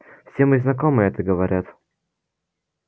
все мои знакомые это говорят